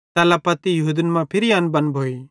एल्लां पत्ती यहूदन मां फिरी अनबन भोइ